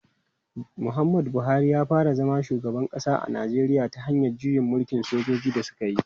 Muhammadu Buhari ya fara zama shugaban kasa a Najeriya ta hanyar juyin mulkin da sojoji suka yi.